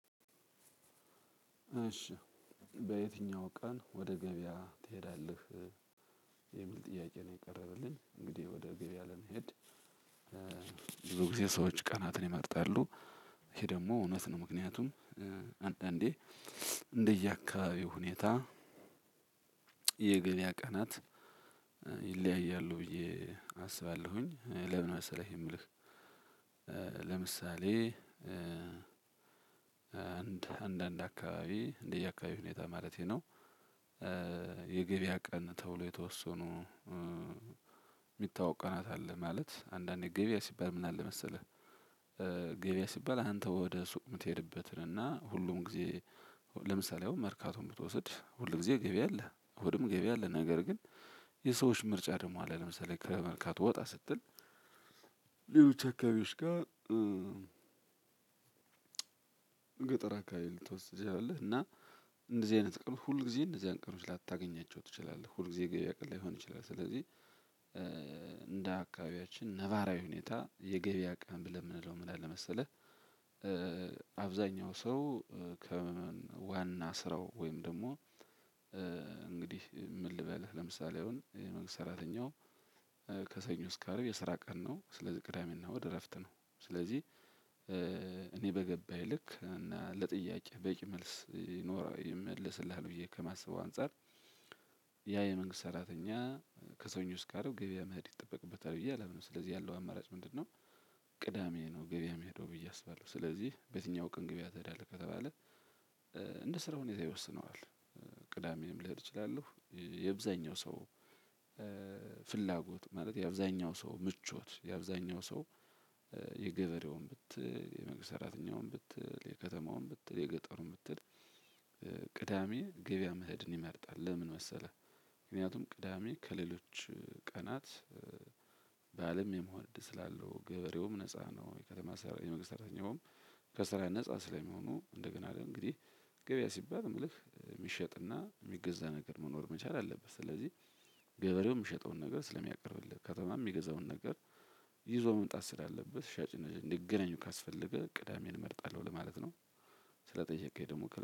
እሺ። በየትኛው ቀን ወደ ገበያ ትሄዳለህ? የሚል ጥያቄ ነው የቀረበልኝ። እንግዲህ ወደ ገበያ ለመሄድ ብዙ ጊዜ ሰዎች ቀናትን ይመርጣሉ። ይሄ ደግሞ እውነት ነው። ምክንያቱም አንዳንዴ እንደየአካባቢው ሁኔታ የገበያ ቀናት ይለያያሉ። ብዬ አስባለሁኝ ለምን መሰለህ የምልህ? ለምሳሌ አንድ አንዳንድ አካባቢ እንደየአካባቢው ሁኔታ ማለቴ ነው። የገበያ ቀን ተውሎ የተወሰኑ የሚታወቅ ቀናት አለ። ማለት አንዳንዴ ገበያ ሲባል ምን አለ መሰለህ? ገበያ ሲባል አንተ ወደሱቅ የምትሄድበትን እና ሁሉም ጊዜ ለምሳሌ አሁን መርካቶን ብትወስድ ሁል ጊዜ ገበያ አለ እሁድም ገበያ አለ። ነገር ግን የሰዎች ምርጫ ደግሞ አለ ለምሳሌ ከመርካቶ ወጣ ስትል። ሌሎች አካባቢዎች ጋር ገጠር አካባቢ ልትወስድ ትችላለህ። እና እንደዚህ አይነት ቀን ሁል ጊዜ እንደዚህ አይነት ቀኖች ላታገኛቸው ትችላለህ ሁል ጊዜ ገበያ ቀን ላይሆን ይችላል። ስለዚህ እንደ አካባቢያችን ነባራዊ ሁኔታ የገበያ ቀን ብለን የምንለው ምን አለ መሰለህ? አብዛኛው ሰው ከዋና ስራው ወይም ደግሞ እንግድህ ምን ልበልህ ለምሳሌ አሁን የመግስት ሰራተኛው ከሰኞ እስከ አርብ የስራ ቀን ነው። ስለዚህ ቅዳሜና እሁድ እረፍት ነው። ስለዚህ እኔ በገባኝ ልክ እና ለጥያቄህ በቂ መልስ ይመልስልሃል። ብዬ ከማስበው አንፃር ያ የመንግስት ሰራተኛ ከሰኞ እስከ አርብ ገበያ መሄድ ይጠበቅበታል ብዬ አላምንም። ስለዚህ ያለው አማራጭ ምንድነው? ቅዳሜ ነው ገበያ እሚሄደው ብዬ አስባለሁ። ስለዚህ በየትኛው ቀን ገበያ ትሄዳለህ ከተባለ እንደ ስራው ሁኔታ ይወስነዋል። ቅዳሜም ልሄድ እችላለሁ። የአብዛኛው ሰው ፍላጎት ማለት የአብዛኛው ሰው ምቾት የአብዛኛው ሰው የገበሬውን ብትል የመንግስት ሰራተኛውን ብትል የከተማውን ብትል የገጠሩን ብትል ቅዳሜ ገበያ መሄድን ይመርጣል። ለምን መሰለህ? ምክንያቱም ቅዳሜ ከሌሎች ቀናት ባእልም የመሆን እድል ስላለው ገበሬውም ነፃ ነው። የመንግስት ሰራተኛውም ከስራ ነፃ ስለሚሆኑ እንደገና እንግዲህ ገበያ ሲባል እምልህ እሚሸጥና እሚገዛ ነገር መኖር መቻል አለብት። ስለዚህ ገበሬው የሚሸጠውን ነገር ስለሚያቀርብልህ ከተማ የሚገዛውን ነገር ይዞ መምጣት ስላለበት ሻጭ እና ገዢ እንዲገናኙ ካስፈለገ ቅዳሜን እመርጣለሁ ለማለት ነው። ስለጠየቀኝ ደግሞ